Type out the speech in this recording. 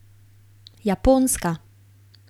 Japonska.